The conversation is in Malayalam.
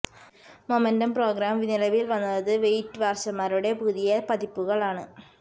മൊമെന്റം പ്രോഗ്രാം നിലവിൽ വന്നത് വെയ്റ്റ് വാച്ചർമാരുടെ പുതിയ പതിപ്പുകൾ ആണ്